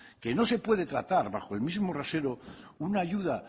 que no se puede tratar bajo el mismo rasero una ayuda